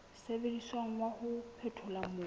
sebediswang wa ho phethola mobu